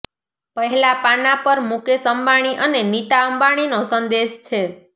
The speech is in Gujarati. પહેલા પાના પર મુકેશ અંબાણી અને નીતા અંબાણી નો સંદેશ છે